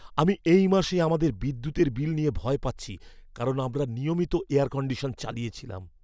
আমি এই মাসে আমাদের বিদ্যুতের বিল নিয়ে ভয় পাচ্ছি, কারণ আমরা নিয়মিত এয়ার কণ্ডিশন চালিয়েছিলাম।